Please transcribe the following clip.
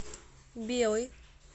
белый